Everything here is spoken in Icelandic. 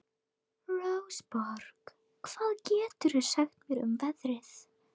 Rósborg, hvað geturðu sagt mér um veðrið?